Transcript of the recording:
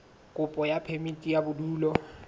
kopo ya phemiti ya bodulo